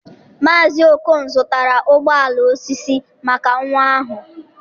Maazị Okon zụtara ụgbọ ala osisi maka nwa ahụ.